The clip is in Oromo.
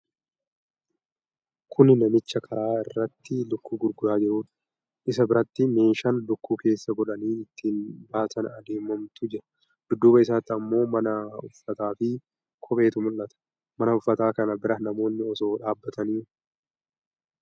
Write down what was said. Kuni namicha karaa irratti lukkuu gurguraa jiruudha. Isa biratti meeshaan lukkuu keessa godhanii ittiin baatanii adeemantu jira. Dudduuba isaatti ammoo mana uffataa fi kopheetu mul'ata. Mana uffataa kana bira namoonni osoo dhaabatanii mul'ata.